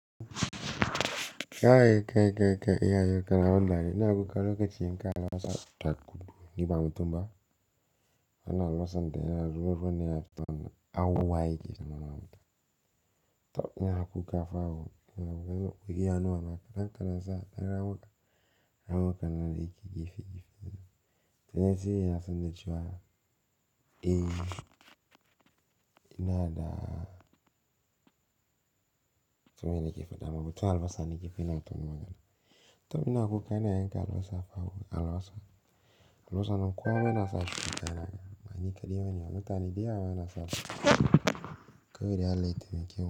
Kai, kai, kai, kai. Iya yo kana ban dariya ina ƙoƙari ga ni ba mubutum ba. Ana alwasan dai na zuru rufe ne a tona auwaye ke nanawa mutum. To ina kuka fawo ina kuka. Wai kiya nawa naka. Dan kana sa kan na wuka, na wuka na dai kike fiki fiki. Tenesi yana san da cewa, eh, ina da to mene kifi dama. Mutum albasan yake fina wato nawa kana. To ina kuka ina yanka alwasan fawo alwasan. Alwasan kum kwama yana sa ki kayana. Mani kadiyo ne walo. Tani dai a waye na sa kai da alaitin kewa.